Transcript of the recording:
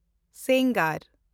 ᱥᱮᱱᱜᱟᱨ